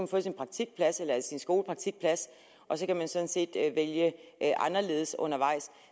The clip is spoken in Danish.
få sin praktikplads eller sin skolepraktikplads og så kan man sådan set vælge anderledes undervejs